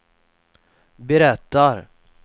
berättar